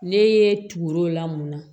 Ne ye tugu la mun na